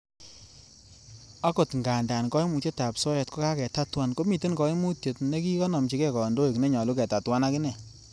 Okot ngandan koimutietab soet ko kaketatuan, komiten koimutiet nekikonomchige kondoik nenyolu ketatuan akine.